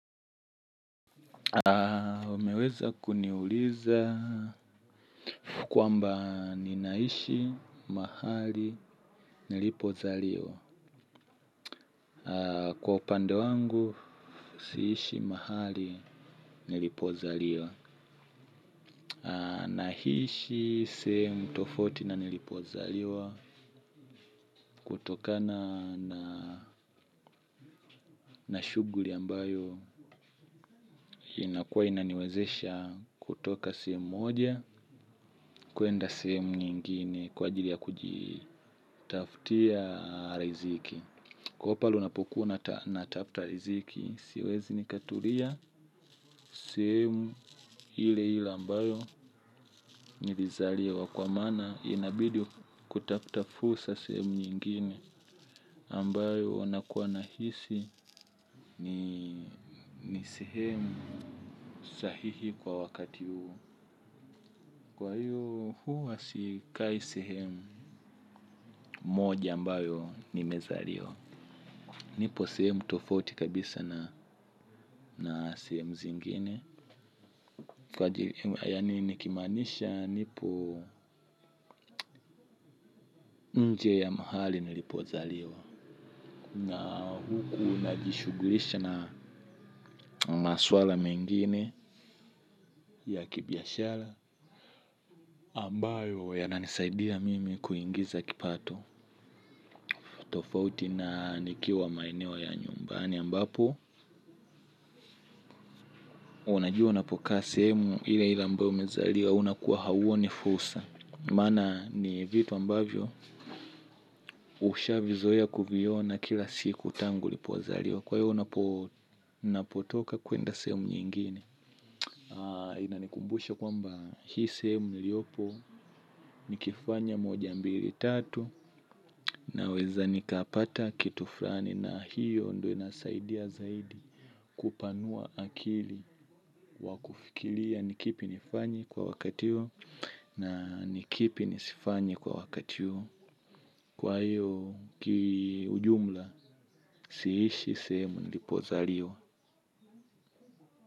Umeweza kuniuliza kwamba ninaishi mahali nilipozaliwa. Kwa upande wangu, siishi mahali nilipozaliwa. Nahishi sehemu tofauti na nilipozaliwa kutokana na na shuguri ambayo inakua inaniwezesha kutoka sehem moja kuenda sehemu nyingine kwa ajili ya kujitaftia riziki. Kwa hio pale unapokuwa natafta riziki, siwezi nikatulia sehemu hile hile ambayo nirizaliwa kwa maana inabidi kutafuta fusa sehemu nyingine ambayo nakua nahisi ni sehemu sahihi kwa wakati huu. Kwa hiyo huwa sikai sehemu moja ambayo nimezaliwa. Nipo sehemu tofauti kabisa na sehemu zingine. Yani nikimanisha nipo nje ya mahali nilipozaliwa. Na huku unajishugulisha na maswala mengine ya kibiashara ambayo yananisaidia mimi kuingiza kipato. Tofauti na nikiwa maeneo ya nyumbani ambapo. Unajua unapokaa sehemu ile ile ambayo umezaliwa unakuwa hauoni fusa. Mana ni vitu ambavyo usha vizoea kuviona kila siku tangu ulipozaliwa. Kwa hiyo unapotoka kuenda sehemu nyingine. Inanikumbusha kwamba hii sehemu niliopo nikifanya moja mbili tatu naweza nikapata kitu frani na hiyo ndio inasaidia zaidi. Kupanua akili wa kufikilia ni kipi nifanye kwa wakati hio. Na ni kipi nisifanye kwa wakati huo. Kwa hiyo kiujumla siishi sehemu nilipozaliwa.